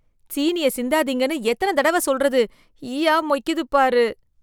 சீனிய சிந்தாதீங்கன்னு எத்தனை தடவை சொல்றது, ஈயா மொய்க்குது பாரு.